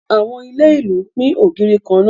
Àwọn ilé ìlú ń pín ògiri kan náà